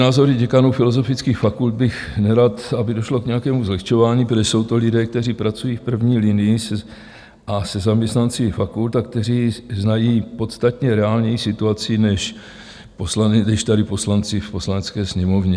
Názory děkanů filozofických fakult bych nerad, aby došlo k nějakému zlehčování, protože jsou to lidé, kteří pracují v první linii a se zaměstnanci fakult, kteří znají podstatně reálněji situaci než tady poslanci v Poslanecké sněmovně.